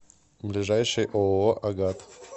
ближайший ооо агат